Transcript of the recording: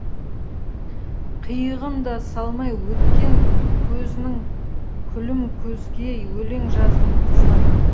қиығын да салмай өткен көзінің күлімкөзгей өлең жаздым қызғана